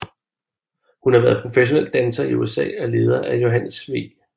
Hun har været professionel danser i USA og leder af Johannes V